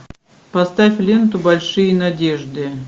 поставь ленту большие надежды